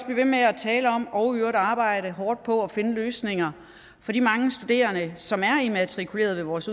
ved med at tale om og i øvrigt arbejde hårdt på at finde løsninger for de mange studerende som er immatrikuleret vores